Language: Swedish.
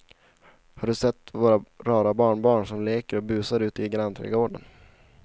Har du sett våra rara barnbarn som leker och busar ute i grannträdgården!